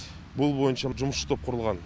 бұл бойынша жұмысшы топ құрылған